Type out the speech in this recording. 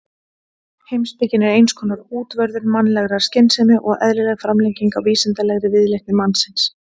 Heimspekin er eins konar útvörður mannlegrar skynsemi og eðlileg framlenging á vísindalegri viðleitni mannsins.